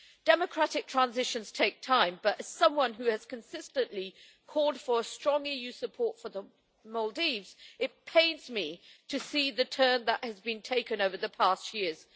Democratic transitions take time, but as someone who has consistently called for strong EU support for the Maldives, it pains me to see the turn that has been taken over the past few years.